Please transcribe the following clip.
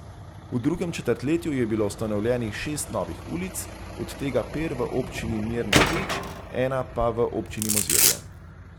V drugem četrtletju je bilo ustanovljenih šest novih ulic, od tega per v občini Mirna Peč ena pa v občini Mozirje.